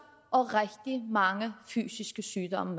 og rigtig mange fysiske sygdomme